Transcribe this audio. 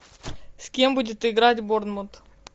с кем будет играть борнмут